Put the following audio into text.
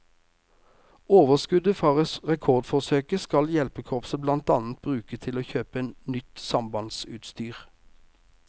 Overskuddet fra rekordforsøket skal hjelpekorpset blant annet bruke til å kjøpe inn nytt sambandsutstyr.